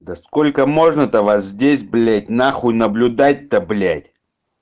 да сколько можно то вас здесь блядь на хуй наблюдать то блядь